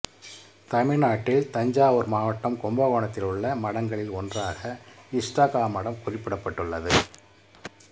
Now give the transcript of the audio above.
தமிழ்நாட்டில் தஞ்சாவூர் மாவட்டம் கும்பகோணத்தில் உள்ள மடங்களில் ஒன்றாக இஷ்டகா மடம் குறிப்பிடப்பட்டுள்ளது